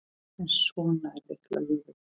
En svona er litla lífið.